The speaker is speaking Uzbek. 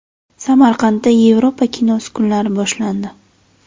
Samarqandda Yevropa kinosi kunlari boshlandi.